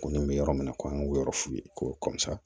Ko nin bɛ yɔrɔ min na ko an k'o yɔrɔ f'u ye ko